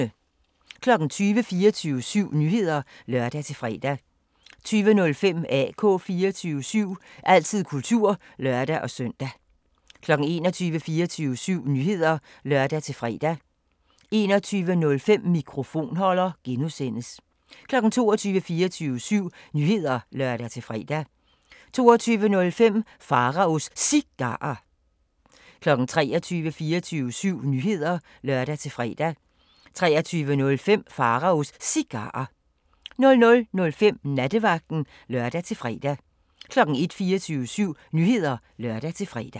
20:00: 24syv Nyheder (lør-fre) 20:05: AK 24syv – altid kultur (lør-søn) 21:00: 24syv Nyheder (lør-fre) 21:05: Mikrofonholder (G) 22:00: 24syv Nyheder (lør-fre) 22:05: Pharaos Cigarer 23:00: 24syv Nyheder (lør-fre) 23:05: Pharaos Cigarer 00:05: Nattevagten (lør-fre) 01:00: 24syv Nyheder (lør-fre)